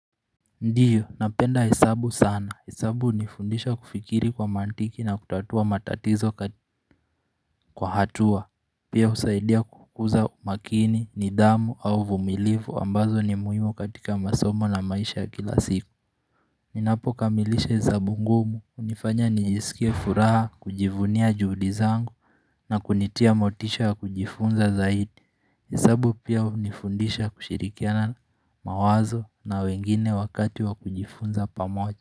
Ndiyo, napenda hesabu sana. Hesabu unifundisha kufikiri kwa mantiki na kutatua matatizo kwa hatua. Pia usaidia kukuza makini, nidhamu au uvumilifu ambazo ni muhimu katika masomo na maisha ya kila siku. Ninapo kamilisha hesabu ngumu, unifanya niisikie furaha, kujivunia juhudi zangu na kunitia motisha kujifunza zaidi. Hesabu pia unifundisha kushirikiana mawazo na wengine wakati wa kujifunza pamoja.